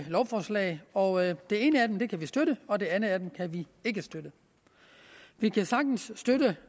lovforslag og det ene af dem kan vi støtte og det andet af dem kan vi ikke støtte vi kan sagtens støtte